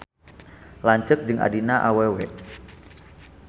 Lanceuk jeung adina awewe.